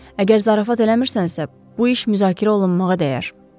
Əgər zarafat eləmirsənsə, bu iş müzakirə olunmağa dəyər.